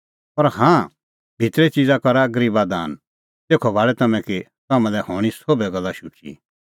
पर हाँ भितरे च़िज़ा करा गरीबा दान तेखअ भाल़ै तम्हैं कि तम्हां लै हणीं सोभै गल्ला शुची